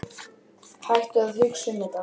Hættu að hugsa um þetta.